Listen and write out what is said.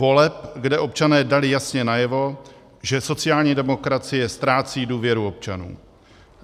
Voleb, kde občané dali jasně najevo, že sociální demokracie ztrácí důvěru občanů.